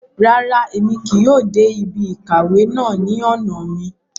Ràrá, Èmí kìí yóò dé ibí ìkàwé náà ní ọna mí